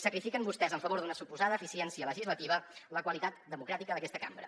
sacrifiquen vostès en favor d’una suposada eficiència legislativa la qualitat democràtica d’aquesta cambra